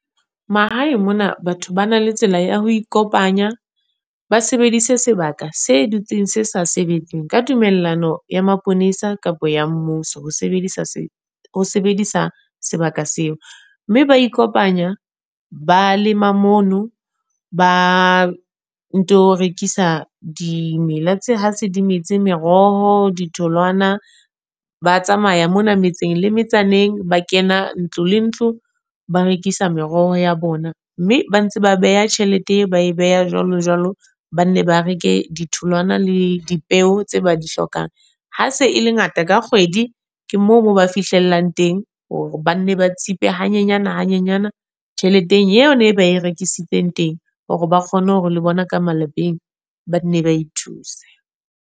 Mahaeng mona batho ba na le tsela ya ho ikopanya. Ba sebedise sebaka se dutseng se sa sebetseng, ka tumellano ya maponesa kapa ya mmuso ho sebedisa ho sebedisa sebaka seo. Mme ba ikopanya, ba lema mono. Ba nto rekisa dimela tse ha se di metse meroho, ditholwana. Ba tsamaya mona metseng le metsaneng, ba kena ntlo le ntlo, ba rekisa meroho ya bona. Mme ba ntse ba beha tjhelete, ba e beha jwalo jwalo, ba nne ba reke ditholwana le dipeo tse ba di hlokang. Ha se e le ngata ka kgwedi, ke moo mo ba fihlellang teng hore ba ne ba tsipe hanyenyana hanyenyana tjheleteng eo ne e berekisitseng teng. Hore ba kgone hore le bona ka malapeng ba nne ba ithuse.